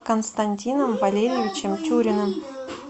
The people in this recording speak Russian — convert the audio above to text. константином валерьевичем тюриным